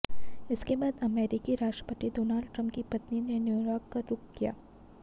इसके बाद अमेरिकी राष्ट्रपति डोनाल्ड ट्रंप की पत्नी ने न्यूयॉर्क का रुख किया